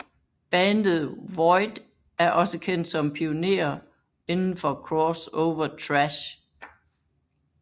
Bandet Void er også kendt som pionere indenfor crossover thrash